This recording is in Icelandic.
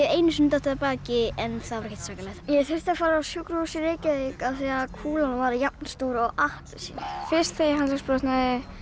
einu sinni dottið af baki en það var ekkert svakalegt ég þurfti að fara á sjúkrahús í Reykjavík af því kúlan var jafnstór og appelsína fyrst þegar ég handleggsbrotnaði